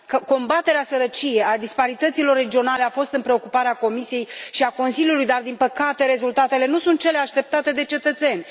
Combaterea sărăciei, a disparităților regionale, a fost în preocuparea Comisiei și a Consiliului dar, din păcate, rezultatele nu sunt cele așteptate de cetățeni.